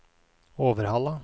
Overhalla